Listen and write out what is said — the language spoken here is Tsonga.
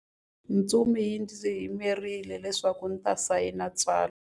Ntsumi yi ndzi yimerile leswaku ndzi ta sayina tsalwa.